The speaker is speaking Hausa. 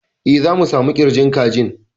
E, za mu samu ƙirjin kajin.